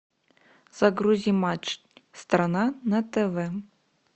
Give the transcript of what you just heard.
загрузи матч страна на тв